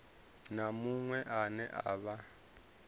na muṅwe ane a vha